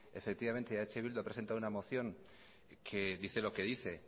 efectivamente eh bildu ha presentado una moción que dice lo que dice